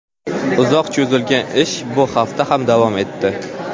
Uzoq cho‘zilgan ish bu hafta ham davom etdi.